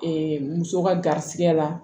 muso ka garisigɛ la